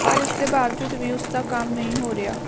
ਪਰ ਇਸ ਦੇ ਬਾਵਜੂਦ ਵੀ ਉਸ ਦਾ ਕੰਮ ਨਹੀਂ ਹੋ ਰਿਹਾ